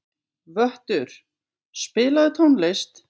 Vöttur, spilaðu tónlist.